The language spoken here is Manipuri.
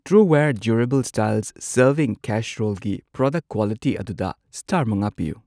ꯇ꯭ꯔꯨꯋꯦꯌꯔ ꯗ꯭ꯌꯨꯔꯦꯕꯜ ꯁ꯭ꯇꯥꯏꯜꯁ ꯁꯔꯕꯤꯡ ꯀꯦꯁꯔꯣꯜꯒꯤ ꯄ꯭ꯔꯗꯛ ꯀ꯭ꯋꯥꯂꯤꯇꯤ ꯑꯗꯨꯗ ꯁ꯭ꯇꯥꯔ ꯃꯉꯥ ꯄꯤꯌꯨ꯫